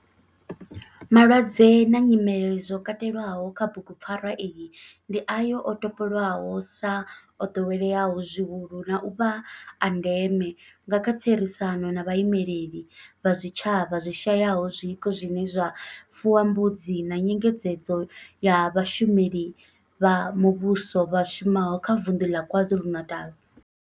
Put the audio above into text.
Malwadze na nyimele zwo katelwaho kha bugupfarwa iyi ndi ayo o topolwaho sa o doweleaho zwihulu na u vha a ndeme nga kha therisano na vhaimeleli vha zwitshavha zwi shayaho zwiko zwine zwa fuwa mbudzi na nyengedzedzo ya vhashumeli vha muvhuso vha shumaho kha vunḓu la KwaZulu-Natal.